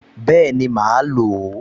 Bẹ́ẹ̀ni, màá lò ó